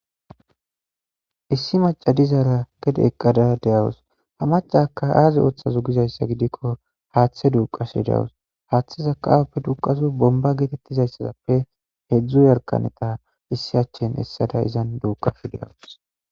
Issi macadizaara gede eqqada deyawus ha macaka aazi ooththazo gizayssa gidikko haaththe duuqase deawus haaththe zaqaaappe duqazu bomba geetettizayssaappe hedzdzu yarkaneta issi achin essada izan duuqa fideawus.